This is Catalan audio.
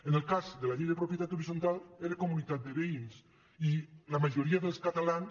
en el cas de la llei de propietat horitzontal era comunitat de veïns i la majoria dels catalans